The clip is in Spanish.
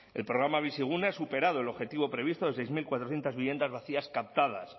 el programa bizigune ha superado el objetivo previsto de seis mil cuatrocientos viviendas vacías captadas